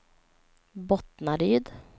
Bottnaryd